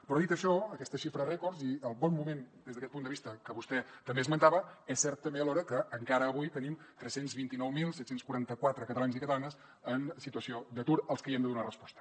però dit això aquesta xifra rècord i el bon moment des d’aquest punt de vista que vostè també esmentava és cert també alhora que encara avui tenim tres cents i vint nou mil set cents i quaranta quatre catalans i catalanes en situació d’atur als que hi hem de donar resposta